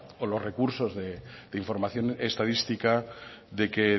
o los recursos de información estadística de que